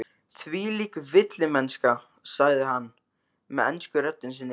Þvílík villimennska, sagði hann með ensku röddinni sinni.